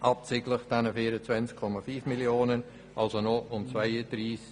Abzüglich der 24,5 Mio. geht es noch um 233,5 Mio. Franken.